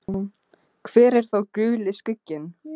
Hver er þá Guli skugginn?